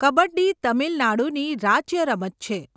કબડ્ડી તમિલનાડુની રાજ્ય રમત છે.